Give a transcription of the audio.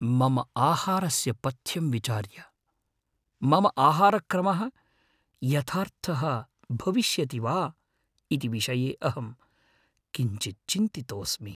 मम आहारस्य पथ्यं विचार्य, मम आहारक्रमः यथार्थः भविष्यति वा इति विषये अहं किञ्चित् चिन्तितोस्मि ।